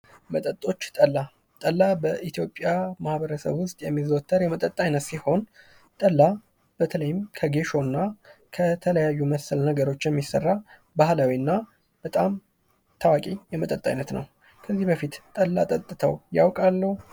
መጠጦች ጠላ ጠላ በኢትዮጵያ ማህበረሰብ ውስጥ የሚዘወተር የመጠጥ አይነት ነው። ጠላ በተለይም ከጌሾና ከተለያዩ መሰል ነገሮች የሚሰራ ባህላዊና በጣም ታዋቂ የመጠጥ አይነት ነው። ከዚህ በፊት ጠላ ጠጥተው ያውቃሉ?